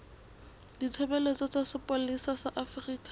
ditshebeletso tsa sepolesa sa afrika